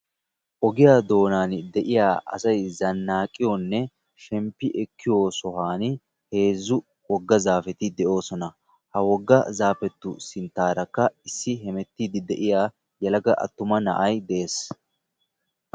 ogiyaa doonaani de'iya asay zanaaqiyoonne shemppi ekkiyo sohuwani heezzu zaafeti de'oosona. ha woga zaafeu sintaarakka issi yelaga attuma na'ay bees.